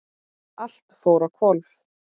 Allt fór á hvolf.